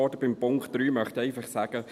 Zu Punkt 3 möchte ich einfach sagen: